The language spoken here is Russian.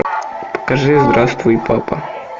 покажи здравствуй папа